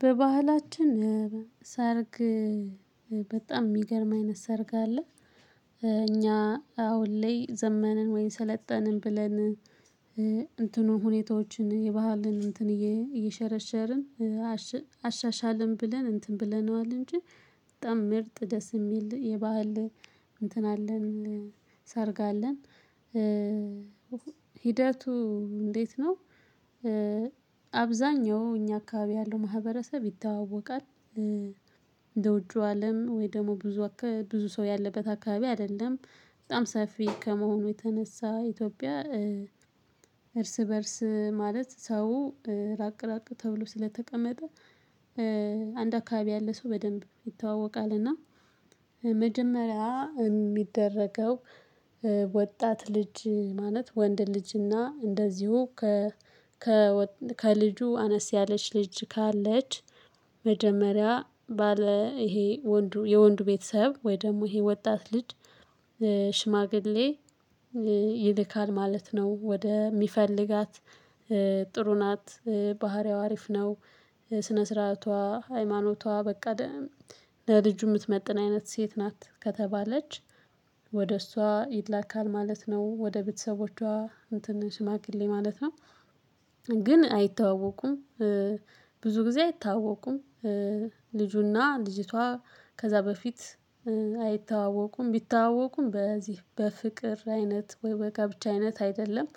በባህላችን ሰርግ በጣም ሚገርም አይነት ሰርግ አለ እኛ አሁን ላይ ዘመንን ወይ ሰለጠንን ብለን እንትኑን ሁኔታዎችን የባህልን እንትን እየሸረሸርን አሻሻልን ብለን እንትን ብለነዋል እንጂ በጣም ምርጥ ደስ የሚል የባህል እንትን አለን ሰርግ አለን ሂደቱ እንዴት ነው? አብዛኛው እኛ አካባቢ ያለው ማህበረሰብ ይተዋወቃል። እንደ ውጪው አለም ወይ ደግሞ ብዙ ብዙ ሰው ያለበት አካባቢ አይደለም። በጣም ሰፊ ከመሆኑ የተነሳ ኢትዮጵያ እርስ በእርስ ማለት ሰው ራቅ ራቅ ተብሎ ስለተቀመጠ አንድ አካባቢ ያለ ሰው በደንብ ይተዋወቃል። እና መጀመሪያ ሚደረገው ወጣት ልጅ ማለት ወንድ ልጅና እንደዚሁ ከ ከልጁ አነስ ያለች ልጅ ካለች መጀመሪያ ባለ ይሄ ወንዱ የወንዱ ቤተሰብ ወይ ደግሞ ይሄ ወጣት ልጅ ሽማግሌ ይልካል ማለት ነው። ወደ የሚፈልጋት ጥሩ ናት፣ ባህሪያው አሪፍ ነው፣ ስነ ስርዓቷ፣ ሃይማኖቷ በቃ ለልጁ ምትመጥን አይነት ሴት ናት ከተባለች ወደ እሷ ይላካል ማለት ነው። ወደ ቤተሰቦቿ እንትን ሽማግሌ ማለት ነው። ግን አይተዋወቁም ብዙ ጊዜ አይተዋወቁም። ልጁና ልጅቷ ከዛ በፊት አይተዋወቁም። ቢተዋወቁም በዚህ በፍቅር አይነት ወይ በጋብቻ አይነት አይደለም።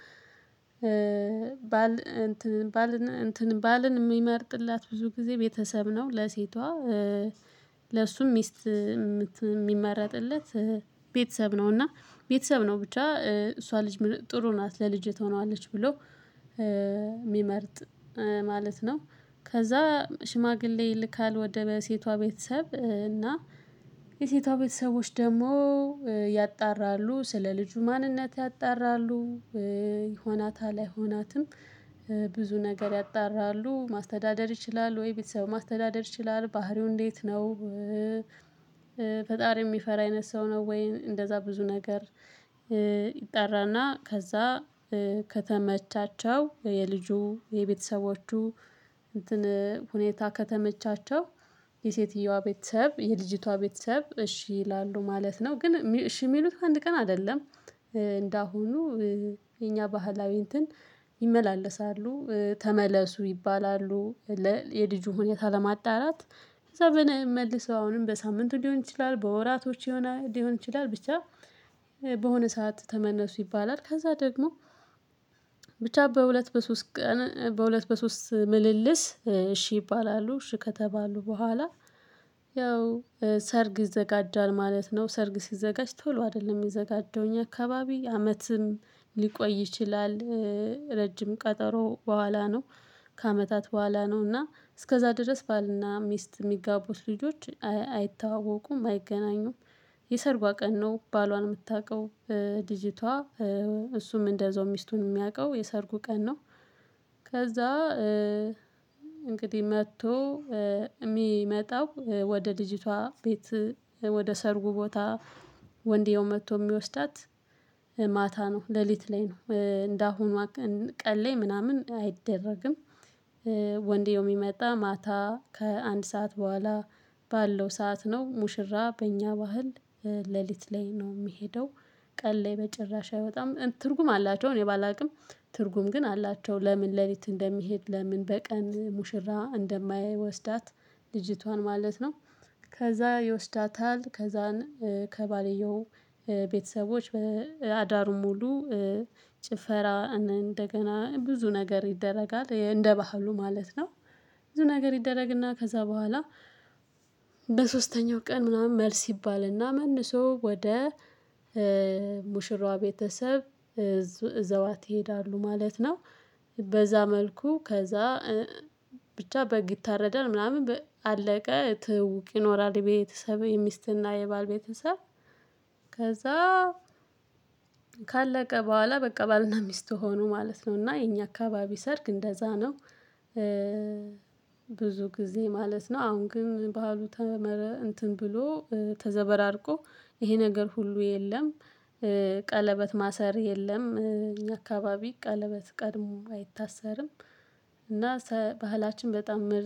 ባል እንትን ባልን እንትን ባልን ሚመርጥላት ብዙ ጊዜ ቤተሰብ ነው ለሴቷ ለሱ ሚስት ሚመረጥለት ቤተሰብ ነው። እና ቤተሰብ ነው ብቻ እሷ ልጅ ጥሩ ናት ለልጅ ትሆናለች ብሎ ሚመርጥ ማለት ነው። ከዛ ሽማግሌ ይልካል ወደ ሴቷ ቤተሰብ እና የሴቷ ቤተሰቦች ደግሞ ያጣራሉ ስለ ልጁ ማንነት ያጣራሉ ይሆናታል አይሆናትም? ብዙ ነገር ያጣራሉ። ማስተዳደር ይችላል ወይ? ቤተሰብ ማስተዳደር ይችላል? ባህሪው እንዴት ነው? ፈጣሪ ሚፈራ አይነት ሰው ነው ወይ? እንደዛ ብዙ ነገር ይጣራና ከዛ ከተመቻቸው የልጁ የቤተሰቦቹ እንትን ሁኔታ ከተመቻቸው የሴትየዋ ቤተሰብ የልጅቷ ቤተሰብ እሺ ይላሉ ማለት ነው። ግን እሺ ሚሉት ከአንድ ቀን አይደለም። እንደአሁኑ የኛ ባህላዊ እንትን ይመላለሳሉ ተመለሱ ይባላሉ። የልጁ ሁኔታ ለማጣራት ከዛ በነይ መልሰው አሁንም በሳምንቱ ሊሆን ይችላል፣ በወራቶች ሊሆን ይችላል ብቻ በሆነ ሰዓት ተመነሱ ይባላል ከዛ ደግሞ ብቻ በሁለት በሶስት በሁለት በሶስት ምልልስ እሺ ይባላሉ። እሺ ከተባሉ በኋላ ያው ሰርግ ይዘጋጃል ማለት ነው። ሰርግ ሲዘጋጅ ቶሎ አይደለም ሚዘጋጀው እኛ አካባቢ አመትም ሊቆይ ይችላል። ረጅም ቀጠሮ በኋላ ነው ከአመታት በኋላ ነው። እና እስከዛ ድረስ ባልና ሚስት ሚጋቡት ልጆች አይተዋወቁም አይገናኙም። የሰርጓ ቀን ነው ባሏን ምታውቀው ልጂቷ እሱም እንደዛው ሚስቱን ሚያውቀው የሰርጉ ቀን ነው። ከዛ እንግዲህ መጥቶ ሚመጣው ወደ ልጅቷ ቤት ወደ ሰርጉ ቦታ ወንድዬው መጥቶ ሚወስዳት ማታ ነው ሌሊት ላይ ነው። እንደአሁኗ ቀን ላይ ምናምን አይደረግም ወንድዬው ሚመጣ ማታ ከአንድ ሰዓት በኋላ ባለው ሰዓት ነው ሙሽራ በእኛ ባህል ሌሊት ላይ ነው ሚሄደው ቀን ላይ በጭራሽ አይወጣም። ትርጉም አላቸው እኔ ባላውቅም ትርጉም ግን አላቸው። ለምን ሌሊት እንደሚሄድ? ለምን በቀን ሙሽራ እንደማይወስዳት? ልጅቷን ማለት ነው። ከዛ ይወስዳታል ከዛን ከባልየው ቤተሰቦች በአዳሩ ሙሉ ጭፈራ እንደገና ብዙ ነገር ይደረጋል። እንደ ባህሉ ማለት ነው ብዙ ነገር ይደረግና ከዛ በኋላ በሶስተኛው ቀን ምናምን መልስ ይባልና መልሶ ወደ ሙሽራዋ ቤተሰብ እዘዋት ይሄዳሉ ማለት ነው። በዛ መልኩ ከዛ ብቻ በግ ይታረዳል ምናምን በ አለቀ ትውውቅ ይኖራል የቤተሰብ የሚስትና የባል ቤተሰብ ከዛ ካለቀ በኋላ በቀባልና ሚስት ሆኖ ማለት ነው። እና የኛ አካባቢ ሰርግ እንደዛ ነው። ብዙ ጊዜ ማለት ነው። አሁን ግን ባህሉ ተመረ እንትን ብሎ ተዘበራርቆ ይሄ ነገር ሁሉ የለም። ቀለበት ማሰር የለም። እኛ አካባቢ ቀለበት ቀድሞ አይታሰርም። እና ባህላችን በጣም ምርጥ